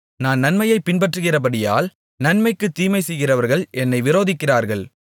நான் நன்மையைப் பின்பற்றுகிறபடியால் நன்மைக்குத் தீமை செய்கிறவர்கள் என்னை விரோதிக்கிறார்கள்